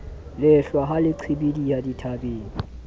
lehlwa ha le qhibidiha dithabeng